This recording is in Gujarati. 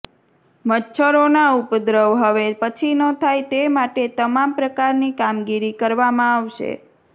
મચ્છરોના ઉપદ્રવ હવે પછી ન થાય તે માટે તમામ પ્રકારની કામગીરી કરવામાં આવશે